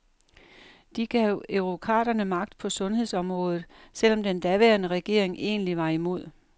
De gav eurokraterne magt på sundhedsområdet, selv om den daværende regering egentlig var imod.